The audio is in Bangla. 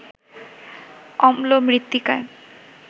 অম্ল মৃত্তিকায়